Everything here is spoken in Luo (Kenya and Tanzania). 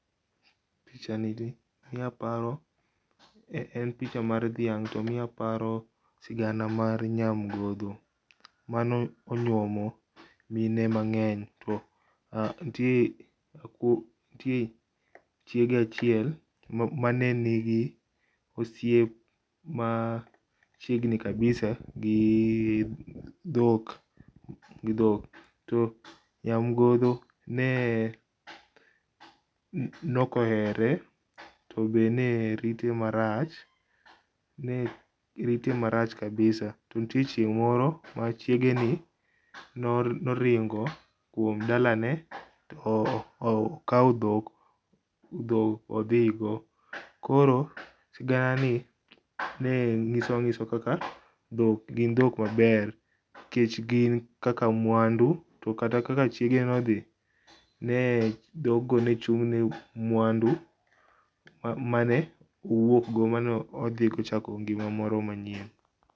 Pichani miyo aparo, en picha mar dhiang to miyo aparo sigana mar Nyamgondho mane onyuomo mine mangeny to nitie chiege achiel mane nigi osiep machiegni kabisa gi dhik, gi dhok. To Nyamgondho ne ok ohere tobe ne rite marach, ne rite marach kabisa, to nitie chieng moro ma chiegeni noringo dalane to okaw dhok ,dhok odhigo. Koro sigana ni nyiso kaka dhok gin dhok maber nikech gin kaka mwandu ,to kata kaka chiege nodhi, dhog go nochung ne mwandu mane owuok go, mane odho kochako go ngima moro manyien